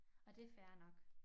Og det fair nok